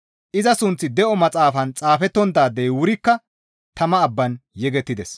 Iza sunththi de7o maxaafan xaafettonttaadey wurikka tama abbaan yegettides.